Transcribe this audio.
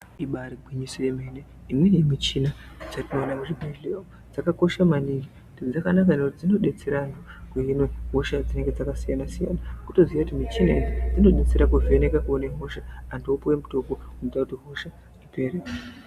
Ibari gwinyiso yemene imweni michina dzatinoona muzvibhedhlera umu dzakakosha maningi , dzakanaka ngekuti dzinodetsera kuhina hosha dzinenge dzakasiyana siyana kutoziya kuti muchina idzi dzinodetsera kuvheneka kuone hosha antu opuwa mitombo inoita kuti hosha ipere .